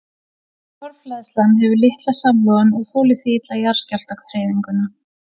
Torfhleðslan hefur litla samloðun og þolir því illa jarðskjálftahreyfinguna.